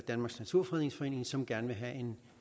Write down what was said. danmarks naturfredningsforening som gerne vil have